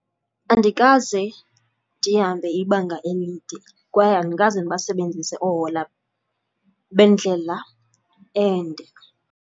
Andikaze ndihambe ibanga elide kwaye andikaze ndibasebenzise oohola bendlela ende.